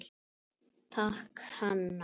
Takk, Hanna.